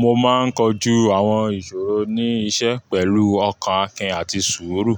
Mo máa ń kojú àwọn ìṣòro ní iṣẹ́ pẹ̀lú ọkàn Akin àti sùúrù.